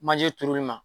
Manje turuli ma